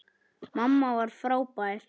Mamma var frábær.